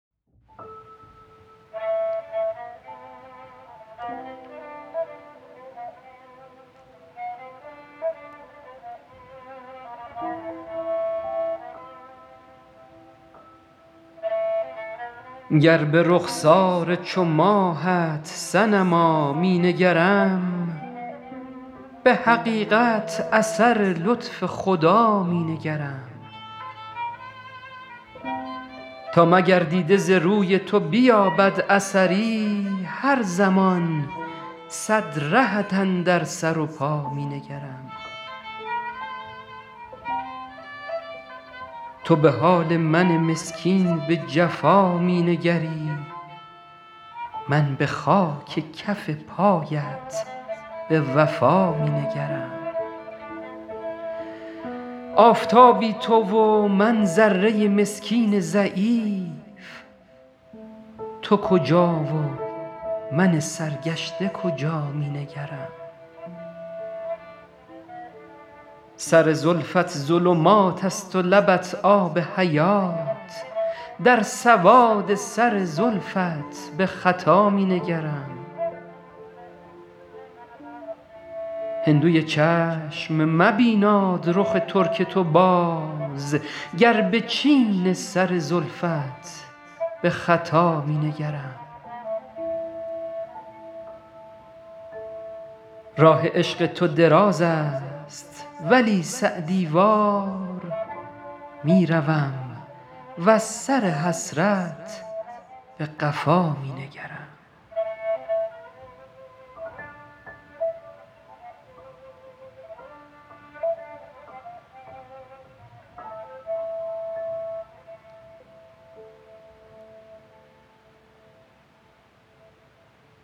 گر به رخسار چو ماهت صنما می نگرم به حقیقت اثر لطف خدا می نگرم تا مگر دیده ز روی تو بیابد اثری هر زمان صد رهت اندر سر و پا می نگرم تو به حال من مسکین به جفا می نگری من به خاک کف پایت به وفا می نگرم آفتابی تو و من ذره مسکین ضعیف تو کجا و من سرگشته کجا می نگرم سر زلفت ظلمات است و لبت آب حیات در سواد سر زلفت به خطا می نگرم هندوی چشم مبیناد رخ ترک تو باز گر به چین سر زلفت به خطا می نگرم راه عشق تو دراز است ولی سعدی وار می روم وز سر حسرت به قفا می نگرم